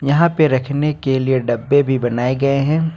यहां पे रखने के लिए डब्बे भी बनाए गए हैं।